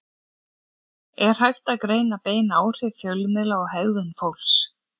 Er hægt að greina bein áhrif fjölmiðla á hegðun fólks?